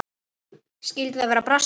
Skyldi það verða brassi?